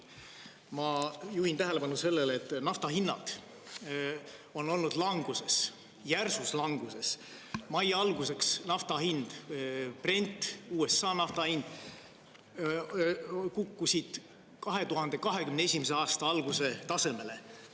Ma juhin tähelepanu sellele, et naftahinnad on olnud languses, järsus languses, mai alguseks nafta hind, Brent, USA nafta hind kukkusid 2021. aasta alguse tasemele.